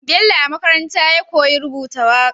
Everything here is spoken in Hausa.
Bello a makaranta ya koyi rubuta waƙe